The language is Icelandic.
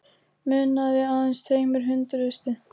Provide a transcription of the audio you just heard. Munaði aðeins tveimur hundruðustu